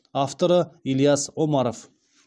авторы ильяс омаров